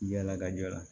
Yala ka jɔ la